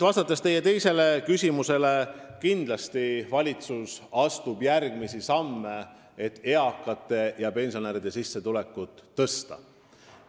Vastan teie teisele küsimusele: kindlasti astub valitsus järgmisi samme, et eakate ja pensionäride sissetulekuid tõsta.